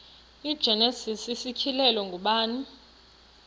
igenesis isityhilelo ngubani